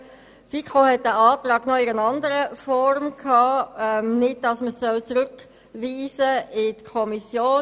Die FiKo hat diesen Antrag noch in einer anderen Form besprochen, das heisst nicht als Rückweisung in die Kommission.